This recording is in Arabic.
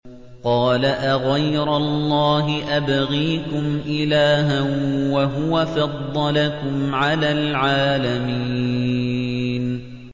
قَالَ أَغَيْرَ اللَّهِ أَبْغِيكُمْ إِلَٰهًا وَهُوَ فَضَّلَكُمْ عَلَى الْعَالَمِينَ